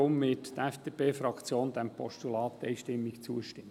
Deshalb wird die FDP-Fraktion diesem Postulat einstimmig zustimmen.